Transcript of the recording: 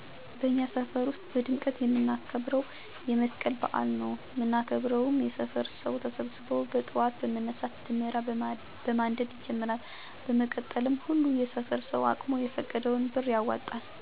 በእኛ ሰፈር ውስጥ በድምቀት የምናከብረው የ መስቀል በዐል ነው። ምናከብረው የሰፈሩ ሰው ተሰብሰበው በጥዋት በመነሳት ደመራ በማንደድ ይጀመራል። በመቀጠልም ሁሉም የሰፈሩ ሰው አቅሙ የፈቀደለትን ብር ያዋጣል። በመቀጠልም በተዋጣው ብር የ ምሳ ዝግጅት ይደረጋል አቅመ ደካሞችም ይሳተፋሉ። በመቀጠል የተዘጋጀውን ምሳ በፍቅር እና በአሉን በማሰብ አንመገባለን። ከዛም በመቀጠል ህጻናት ተሰብስበው በሚያምር እና ደስ በሚል ጨዋታየው አሪፍ ጊዜን እናሳልፋለን።